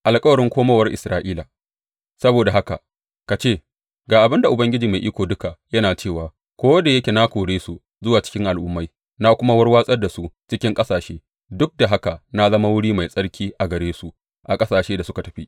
Alkawarin komowar Isra’ila Saboda haka ka ce, Ga abin da Ubangiji Mai Iko Duka yana cewa ko da yake na kore su zuwa cikin al’ummai na kuma warwatsa su cikin ƙasashe, duk da haka na zama wuri mai tsarki a gare su a ƙasashen da suka tafi.’